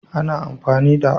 Ana amfani da